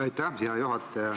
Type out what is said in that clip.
Aitäh, hea juhataja!